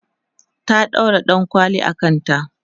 ta ɗaura ɗankwali a kanta